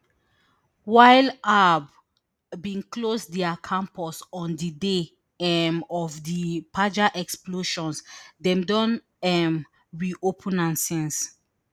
while bin close dia campus on di day um of di pager explosions dem don um reopen am since